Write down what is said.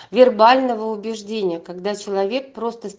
вербального убеждения когда человек